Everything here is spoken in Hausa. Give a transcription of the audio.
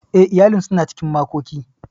Eh, iyalin suna cikin makoki.